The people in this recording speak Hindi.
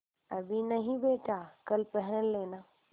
अभी नहीं बेटा कल पहन लेना